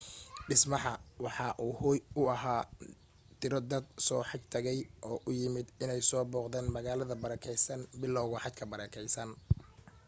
dhismaha waxa uu hooy u ahaa tiro dad soo xaj tagay oo u yimid in ay soo booqdan magaalada barakeysan bilawga xajka barakeysan